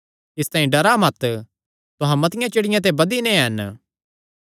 इसतांई डरा मत तुहां मतिआं चिड़ियां ते बधी नैं हन